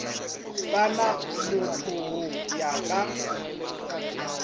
sa na mothogo ya ka